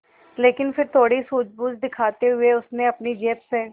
लेकिन फिर थोड़ी सूझबूझ दिखाते हुए उसने अपनी जेब से